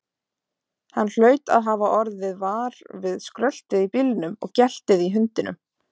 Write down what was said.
Hann hlaut að hafa orðið var við skröltið í bílnum og geltið í hundinum.